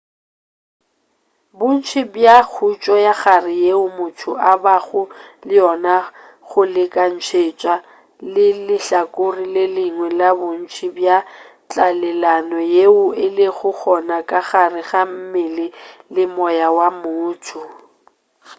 bontši bja khutšo ya kagare yeo motho a bago le yona go lekantšetšwa le lehlakore le lengwe la bontši bja tlalelano yeo e lego gona ka gare ga mmele le moya wa motho